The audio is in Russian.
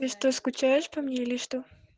и что скучаешь по мне или что